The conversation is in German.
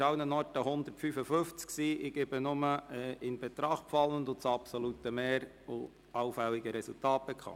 Im Folgenden gebe ich nur die in Betracht fallenden Wahlzettel sowie das absolute Mehr allfälliger Resultate bekannt.